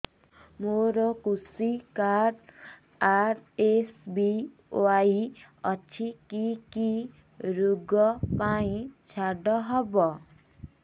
ମୋର କୃଷି card RSBY ଅଛି କି କି ଋଗ ପାଇଁ ଛାଡ଼ ହବ